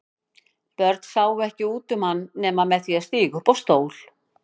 Börn sáu ekki út um hann nema með því að stíga á stól.